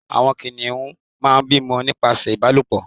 àwọn kìnìún má n bímọ nípasẹ ìbálòpọ̀